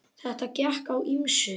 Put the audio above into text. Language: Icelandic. Þarna gekk á ýmsu.